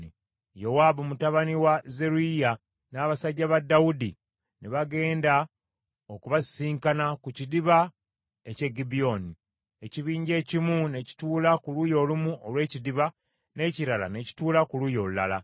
Yowaabu mutabani wa Zeruyiya n’abasajja ba Dawudi ne bagenda okubasisinkana ku kidiba eky’e Gibyoni. Ekibinja ekimu ne kituula ku luuyi olumu olw’ekidiba, n’ekirala ne kituula ku luuyi olulala.